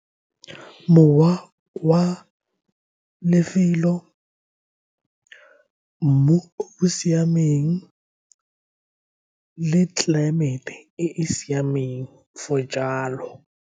Mowa wa lefelo, mmu o o siameng le tlelaemete e e siameng for jalo.